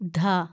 ധ